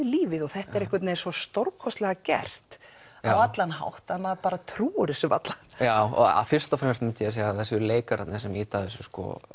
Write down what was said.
lífið og þetta er einhvern veginn svo stórkostlega gert á allan hátt að maður trúir þessu varla fyrst og fremst myndi ég segja að það séu leikararnir sem ýta þessu